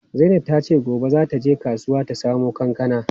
Zainab tace gobe za ta je kasuwa ta samo kankana.